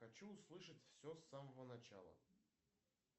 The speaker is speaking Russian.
хочу услышать все с самого начала